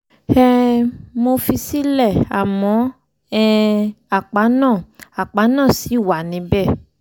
um mo fi í sílẹ̀ àmọ́ um àpá náà àpá náà ṣì wà níbẹ̀